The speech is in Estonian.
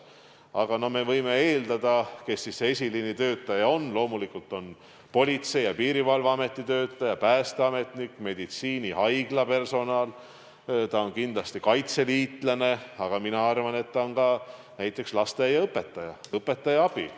Aga me võime eeldada, kes see esiliini töötaja on – loomulikult Politsei- ja Piirivalveameti töötaja, päästeametnik, meditsiinihaigla personal, kindlasti kaitseliitlane, aga mina arvan, et ka näiteks lasteaiaõpetaja ja õpetaja abi.